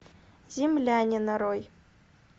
земляне нарой